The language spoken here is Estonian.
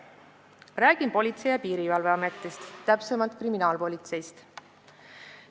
Räägin Politsei- ja Piirivalveametist, täpsemalt kriminaalpolitseist.